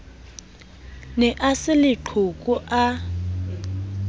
ne a se leqhoko a